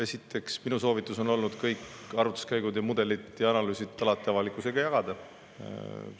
Esiteks, minu soovitus on olnud kõiki arvutuskäike, mudeleid ja analüüse alati avalikkusega jagada.